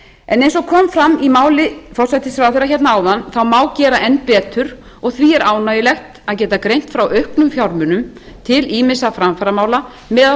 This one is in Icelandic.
en eins og kom fram í máli forsætisráðherra hérna áðan má gera enn betur og því er ánægjulegt að geta greint frá auknum fjármunum til ýmissa framfaramála meðal